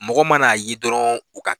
Mɔgɔ mana a ye dɔrɔn u ka